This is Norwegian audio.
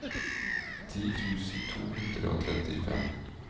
ti tusen to hundre og trettifem